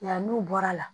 Yan n'u bɔra la